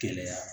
Gɛlɛya